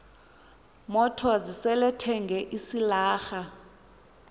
motors selethenge isilarha